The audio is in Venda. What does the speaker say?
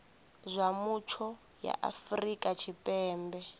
zwa mutsho ya afrika tshipembe